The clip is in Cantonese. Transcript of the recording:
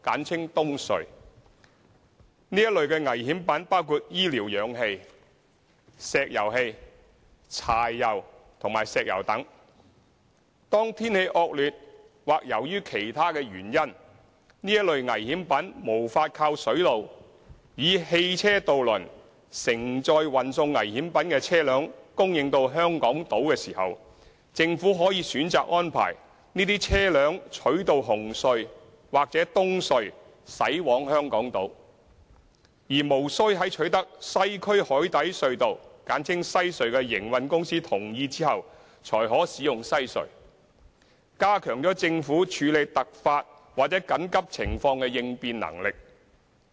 這類危險品包括醫療氧氣、石油氣、柴油和石油等。當天氣惡劣或由於其他原因，這類危險品無法靠水路以汽車渡輪承載運送危險品的車輛供應到香港島時，政府可選擇安排這些車輛取道紅隧或東隧駛往香港島，而無須在取得西區海底隧道的營運公司同意後才可使用西隧，加強了政府處理突發或緊急情況的應變能力。